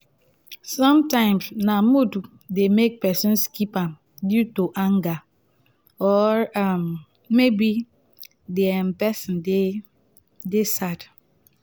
sometimes na mood de make person skip am due to anger or um maybe di um person de um sad